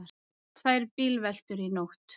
Tvær bílveltur í nótt